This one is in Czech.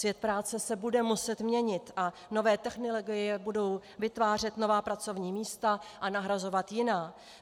Svět práce se bude muset měnit a nové technologie budou vytvářet nová pracovní místa a nahrazovat jiná.